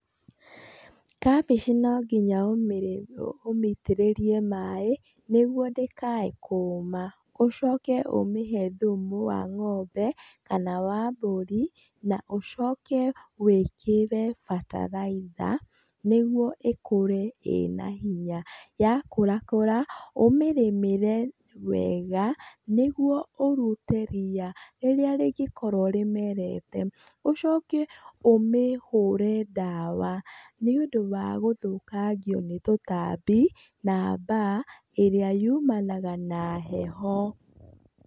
Kabici no nginya ũmĩitĩrĩrie maĩ, nĩguo ndĩkae kũũma, ũcoke ũmĩhe thumu wa ng'ombe kana wa mbũri na ũcoke wĩkĩre bataraitha, nĩguo ĩkũre ĩna hinya. Yakũra kũra kũra, ũmĩrĩmĩre nĩguo kũruta ria rĩrĩa rĩngĩkorwo rĩmerete. Ũcoke ũmĩhũre ndawa nĩ ũndũ wa gũthũkangio nĩ tũtambi na mbaa ĩrĩa yumanaga na heho.